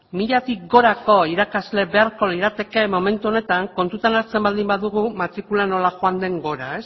milatik gorako irakasle beharko lirateke momentu honetan kontutan hartzen baldin badugu matrikula nola joan den gora